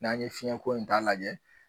N'a ye fiɲɛnko in t'a lajɛ